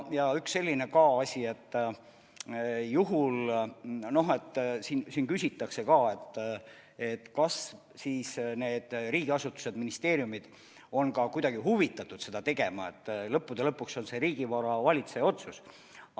Ja üks selline asi ka veel, et siin küsitakse, kas siis need riigiasutused-ministeeriumid on ka kuidagi huvitatud seda tegema, et lõppude lõpuks on see riigivara valitseja otsus.